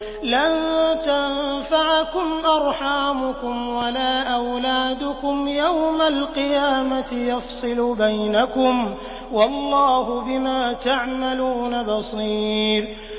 لَن تَنفَعَكُمْ أَرْحَامُكُمْ وَلَا أَوْلَادُكُمْ ۚ يَوْمَ الْقِيَامَةِ يَفْصِلُ بَيْنَكُمْ ۚ وَاللَّهُ بِمَا تَعْمَلُونَ بَصِيرٌ